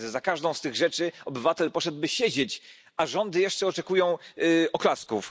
Za każdą z tych rzeczy obywatel poszedłby siedzieć, a rządy jeszcze oczekują oklasków.